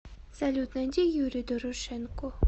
салют найди юрий дорошенко